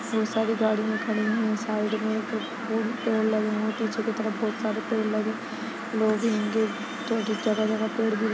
बहुत सारी गाड़ियाँ खड़ी है साइड मे एक फूल पेड़ लगे है पीछे की तरफ़ बहुत सारे पेड़ लगे है लोग जगह- जगह पेड़ भी--